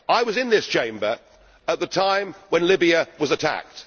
I was in this Chamber at the time when Libya was attacked.